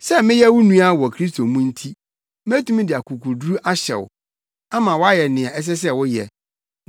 Sɛ meyɛ wo nua wɔ Kristo mu nti, metumi de akokoduru ahyɛ wo, ama woayɛ nea ɛsɛ sɛ woyɛ,